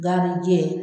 Gan ni jɛ